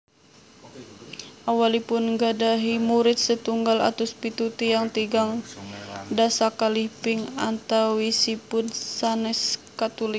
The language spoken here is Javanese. Awalipun nggadhahi murid setunggal atus pitu tiyang tigang dasa kalih ping antawisipun sanès Katulik